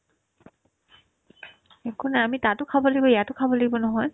একো নাই আমি তাতো খাব লাগিব ইয়াতো খাব লাগিব নহয়